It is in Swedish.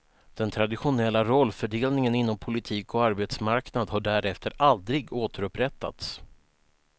Den traditionella rollfördelningen inom politik och arbetsmarknad har därefter aldrig återupprättats.